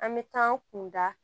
An bɛ taa an kun da